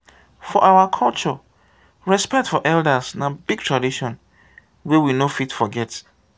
for our culture respect for elders na big tradition wey we no fit forget.